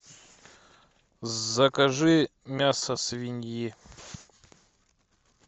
закажи мясо свиньи